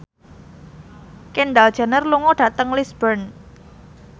Kendall Jenner lunga dhateng Lisburn